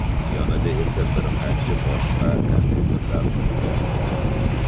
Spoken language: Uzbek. Yonida esa bir qancha boshqa kompyuterlar turgan bo‘ladi.